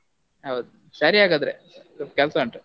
ಹೌದು ಸರಿ ಹಾಗಾದ್ರೆ, ಸ್ವಲ್ಪ ಕೆಲ್ಸ ಉಂಟು.